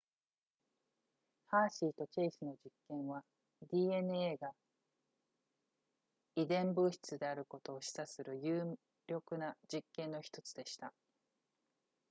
ハーシーとチェイスの実験は dna が遺伝物質であることを示唆する有力な実験の1つでした